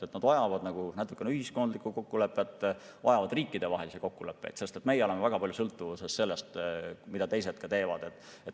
Need vajavad natukene ühiskondlikku kokkulepet, aga vajavad riikidevahelisi kokkuleppeid, sest me oleme väga palju sõltuvuses sellest, mida teised teevad.